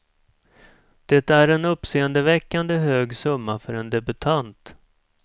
Det är en uppseendeväckande hög summa för en debutant.